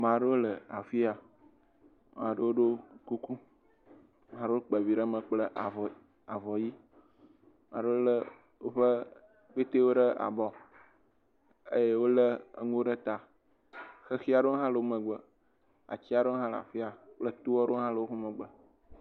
Maɖewo le afi ya. Maɖewo ɖo kuku. Maɖewo kpe vi ɖe me kple avɔ avɔ ʋi. Maɖewo le woƒe kpɛtewo ɖe abɔ eye wole eŋuwo ɖe ta. Xexi aɖewo hã le wo megbe. Ati aɖewo hã kle afi ya. Kple to aɖewo hã le woƒe megbe